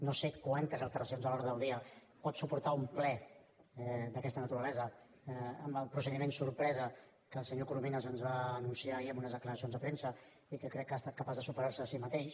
no sé quantes alteracions de l’ordre del dia pot suportar un ple d’aquesta naturalesa amb el procediment sorpresa que el senyor coromines ens va anunciar ahir en unes declaracions a premsa i que crec que ha estat capaç de superar se a si mateix